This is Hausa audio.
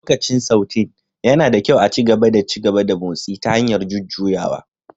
Lokacin Sautéing, yana da kyau a ci gaba da ci gaba da motsi ta hanyar jujjuyawa